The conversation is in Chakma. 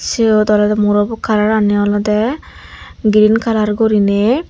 seyot olodey murobot kalaran olodey green kalar guri nay.